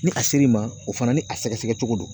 Ni a ser'i ma o fana ni a sɛgɛsɛgɛcogo don